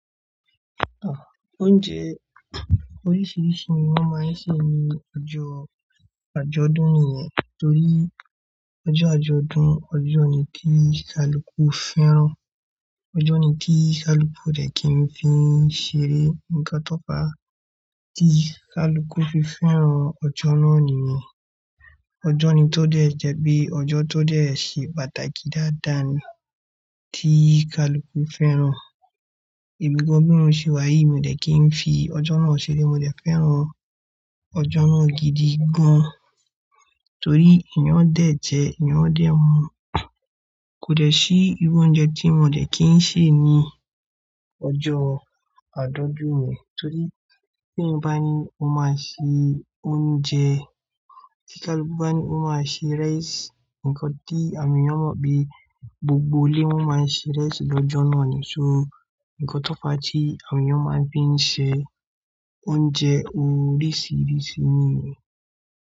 Ah! Oúnjẹ oríṣiríṣi ni wọ́n máa ń ṣe ní ọjọ́ àjọ̀dún nìyẹn. Torí ọjọ́ àjọ̀dún, ọjọ́ ni kí kaluku fẹ́ràn. Ọjọ́ ni kí kaluku dẹ̀ kí n fi ṣeré. Ǹkan tó pa, tí kaluku fi fẹ́ràn ọjọ́ náà nìyẹn. Ọjọ́ ni tó dẹ̀ jẹ́ bí ọjọ́ tó dẹ̀ ṣe pàtàkì dáadáa ni tí kaluku fẹ́ràn. Èmi gan bí mo ṣe wáyi mi dẹ̀ kí n fi ọjọ́ náà ṣeré. Mo dẹ̀ fẹ́ràn ọjọ́ náà gidi gan-an. Torí èèyàn án dẹ̀ jẹ, èèyàn dẹ̀ mu. Kò dẹ̀ sí irú oúnjẹ tí mo dẹ̀ kí n sè ní ọjọ́ àjọ̀dún yẹn. Torí tí ènìyàn bá ní ó máa ṣe oúnjẹ, tí kaluku bá ní ó máa ṣe rice, ǹkan tí àwọn ènìyàn mọ̀ bí gbogbo ilé máa ń ṣe ìrẹsì lọ́jọ́ náà ni. So ǹkan tó pa tí àwọn ènìyàn máa ń fi ṣe oúnjẹ oríṣiríṣi nìyẹn.